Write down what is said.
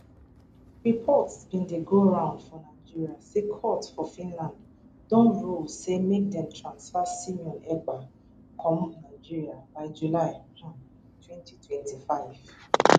reports bin dey go round for nigeria say court for finland don rule say make dem transfer simon ekpa come nigeria by july um 2025